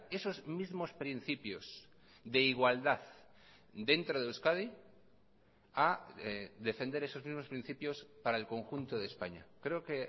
esos mismos principios de igualdad dentro de euskadi a defender esos mismos principios para el conjunto de españa creo que